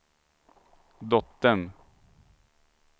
dottern